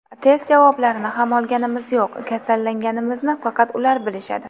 Test javoblarini ham olganimiz yo‘q, kasallanganimizni faqat ular bilishadi.